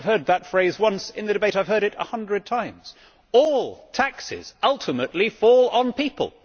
If I have heard that phrase once in the debate I have heard it a hundred times all taxes ultimately fall on people.